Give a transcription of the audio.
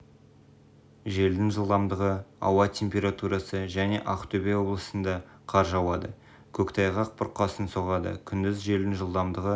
желдің жылдамдығы ауа температурасы және ақтөбе облысында қар жауады көктайғақ бұрқасын соғады күндіз желдің жылдамдығы